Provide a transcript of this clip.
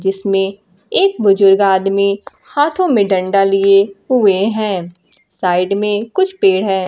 जिसमें एक बुजुर्ग आदमी हाथों में डंडा लिए हुए हैं साइड में कुछ पेड़ है।